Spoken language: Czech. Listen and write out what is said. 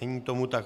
Není tomu tak.